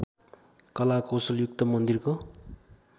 कला कौशलयुक्त मन्दिरको